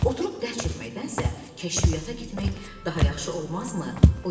Oturub dərd çəkməkdənsə, kəşfiyyata getmək daha yaxşı olmazmı?